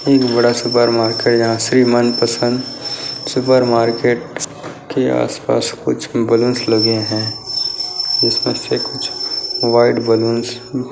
एक बड़ा supermarket जहां श्री मनपसंद सुपर मार्केट के आस-पास कुछ बैलून्स लगे हैं जिसमें से कुछ व्हाइट बैलून्स --